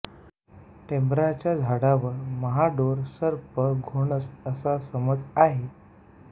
टेंभराच्या झाडावर महाडोर सरप घोणस असा समज आहे